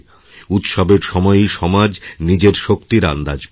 উৎসবের সময়ই সমাজ নিজের শক্তির আন্দাজ পায়